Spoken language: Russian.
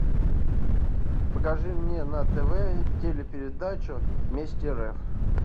покажи мне на тв телепередачу вместе рф